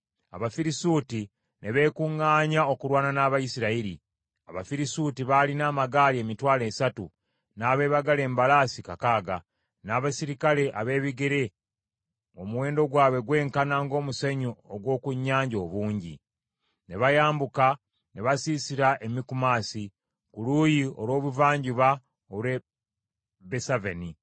Abafirisuuti ne beekuŋŋaanya okulwana n’Abayisirayiri. Abafirisuuti baalina amagaali emitwalo esatu, n’abeebagala embalaasi kakaaga, n’abaserikale abeebigere ng’omuwendo gwabwe gwenkana ng’omusenyu ogw’oku nnyanja obungi. Ne bayambuka ne basiisira e Mikumasi, ku luuyi olw’ebuvanjuba olw’e Besaveni.